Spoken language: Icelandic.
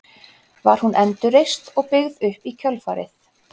Var hún endurreist og byggð upp í kjölfarið.